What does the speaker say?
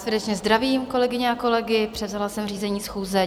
Srdečně zdravím kolegyně a kolegy, převzala jsem řízení schůze.